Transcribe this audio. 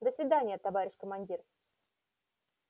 до свидания товарищ командир